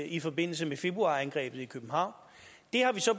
i forbindelse med februarangrebet i københavn det har vi så